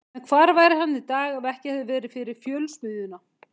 En hvar væri hann í dag ef ekki hefði verið fyrir Fjölsmiðjuna?